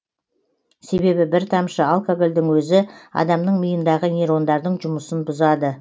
себебі бір тамшы алкогольдің өзі адамның миындағы нейрондардың жұмысын бұзады